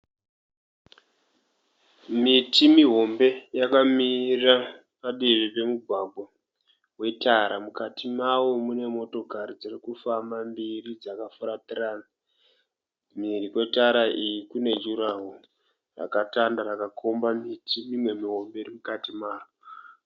Miti mihombe yakamira padivi wetara mukati mawo mune motokari mbiri dzirikufamba dzakafuratirana mhiri kwetara iyi kune jurahoro rakatanda rakakomba miti imwe mihombe mukati maro.